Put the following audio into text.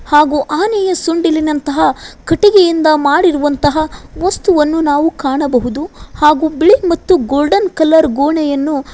ಹಾಗೂ ಆನೆಯ ಸೊಂಡಿಲಿನಂತಹ ಕಟ್ಟಿಗೆಯಿಂದ ಮಾಡಿರುವಂತಹ ವಸ್ತುವನ್ನು ನಾವು ಕಾಣಬಹುದು ಹಾಗೂ ಬಿಳಿ ಮತ್ತು ಗೋಲ್ಡನ್ ಕಲರ್ ಗೋಣೆಯನ್ನು --